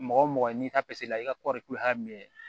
Mɔgɔ mɔgɔ n'i t'a i ka kɔrikolo y'a minɛ